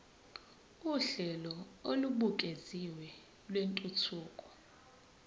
uhlelo olubukeziwe lwentuthuko